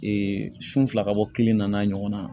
sun fila ka bɔ kelen nana ɲɔgɔn na